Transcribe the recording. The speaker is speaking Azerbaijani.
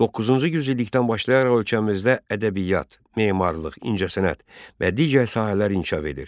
Doqquzuncu yüzillikdən başlayaraq ölkəmizdə ədəbiyyat, memarlıq, incəsənət və digər sahələr inkişaf edir.